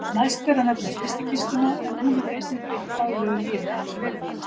Næst ber að nefna frystikistuna en hún hefur einnig breytt daglegu lífi allverulega.